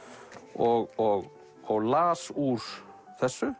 og las úr þessu